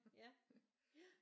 Ja ja